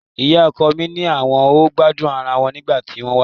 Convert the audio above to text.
Ìyá ọkọ mi ni àwọn ò gbádùn ara wọn nígbà tí wọ́n wá